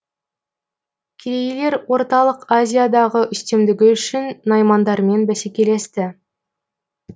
керейлер орталық азиядағы үстемдігі үшін наймандармен бәсекелесті